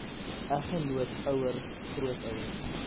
eggenoot ouer grootouer